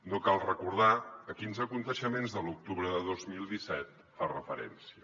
no cal recordar a quins esdeveniments de l’octubre de dos mil disset fa referència